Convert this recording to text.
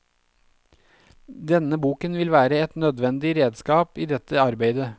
Denne boken vil være et nødvendig redskap i dette arbeidet.